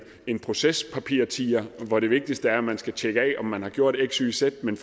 en procespapirtiger hvor det vigtigste er at man skal tjekke af om man gjort x y og z men